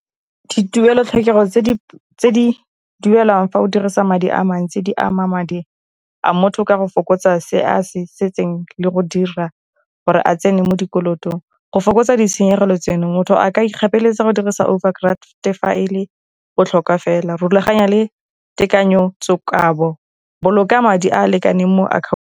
Dituelo-tlhokego tse di duelwang fa o dirisa madi a mantsi, di ama madi a motho ka go fokotsa se a setseng le go dira gore a tsene mo dikolong. Go fokotsa ditshenyegelo tseno, motho a ka igapeleletsa go dirisa overdraft file go tlhoka fela rulaganya le tekanyetsokabo boloka madi a a lekaneng mo .